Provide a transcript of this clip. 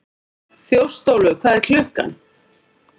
Þjóstólfur, hvað er klukkan?